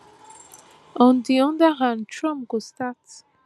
on di oda hand trump go start